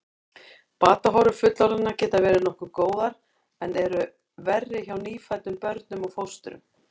Batahorfur fullorðinna geta verið nokkuð góðar en eru verri hjá nýfæddum börnum og fóstrum.